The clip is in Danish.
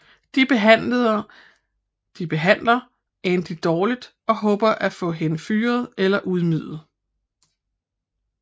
De behandler Andy dårligt og håber at få hende fyret eller ydmyget